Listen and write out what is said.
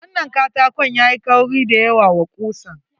Wannan katakon yayi kauri da yawa wa kusan.